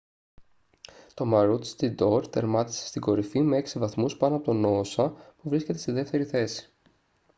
το maroochydore τερμάτισε στην κορυφή με έξι βαθμούς πάνω από το noosa που βρίσκεται στη δεύτερη θέση